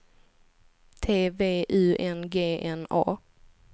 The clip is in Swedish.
T V U N G N A